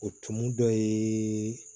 O tumu dɔ ye